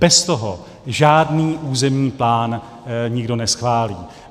Bez toho žádný územní plán nikdo neschválí.